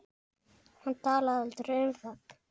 Hann talaði aldrei um það.